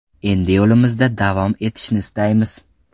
Endi yo‘limizda davom etishni istaymiz.